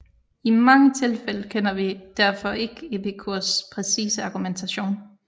I mange tilfælde kender vi derfor ikke Epikurs præcise argumentation